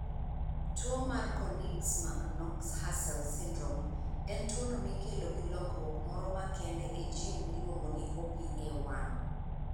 Tuwo mar Konigsmark Knox Hussels syndrome, en tuwono mikelo gi lokruok moro makende e gene miluongo ni OPA1.